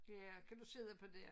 Ja kan du sidde på det